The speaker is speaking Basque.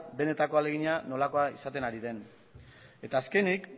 benetako ahalegina nolakoa izaten ari den eta azkenik